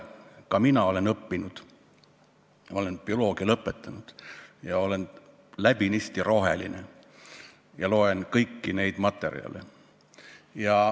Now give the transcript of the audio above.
Ka mina olen õppinud, ma olen bioloogiateaduskonna lõpetanud, olen läbinisti roheline ja loen kõiki neid materjale.